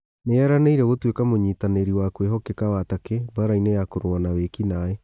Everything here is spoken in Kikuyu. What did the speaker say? Nĩeranĩire gũtuĩka mũnyitanĩ ri wa kwĩhokeka wa Takĩ mbaarainĩ ya kũrũa na wĩ kinaĩ